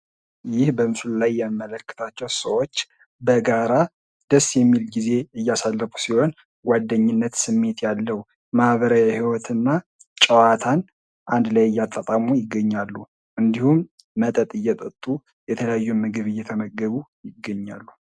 ይህ በምስሉ ላይ የምንመለከታቸው ሰዎች በጋራ ደስ የሚል ጊዜ እያሳለፉ ሲሆን ጓደኝነት ስሜት ያለው ማህበራዊ ህይወትና ጨዋታን አንድ ላይ እያጣጣሙ ይገኛሉ። እንዲሁም መጠጥ እየጠጡ የተለያዩ ምግብ እየተመገቡ ይገኛሉ።